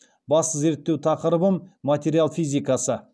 басты зерттеу тақырыбым материал физикасы